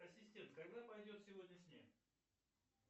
ассистент когда пойдет сегодня снег